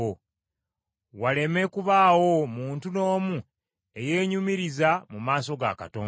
waleme kubaawo muntu n’omu eyeenyumiriza mu maaso ga Katonda.